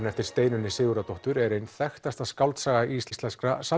eftir Steinunni Sigurðardóttur er ein þekkta skáldsaga íslenskra